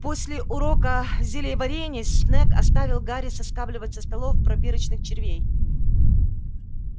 после урока зельеварения снегг оставил гарри соскабливать со столов пробирочных червей